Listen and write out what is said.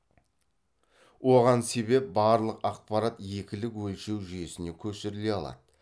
оған себеп барлық ақпарат екілік өлшеу жүйесіне көшіріле алады